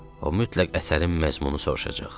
O mütləq əsərin məzmununu soruşacaq.